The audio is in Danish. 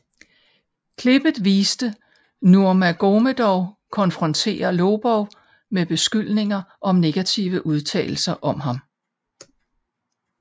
Klippet viste Nurmagomedov konfrontere Lobov med beskyldninger om negative udtalelser om ham